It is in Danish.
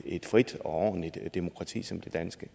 et frit og ordentligt demokrati som det danske